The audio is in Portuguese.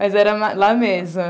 Mas era lá mesmo.